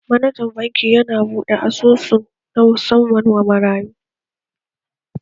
Manajan reshe yana buɗe asusun banki na musamman wa marayu.